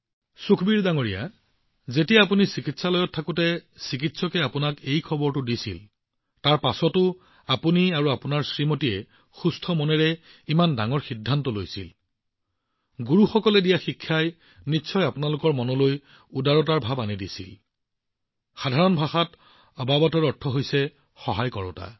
সুখবীৰজী যেতিয়া আপুনি চিকিৎসালয়ত আছিল আৰু যেতিয়া চিকিৎসকে আপোনাক এই আচৰিত খবৰটো দিছিল তাৰ পাছতো আপুনি আৰু আপোনাৰ পত্নীয়ে শান্ত মনেৰে ইমান ডাঙৰ সিদ্ধান্ত লৈছিল গুৰুসকলৰ শিক্ষাই মনত এনে পৰোপকাৰী চিন্তাৰ নেতৃত্ব দিছিল আৰু প্ৰকৃততে সাধাৰণ ভাষাত আবাবাতৰ অৰ্থ সহায়ক হয়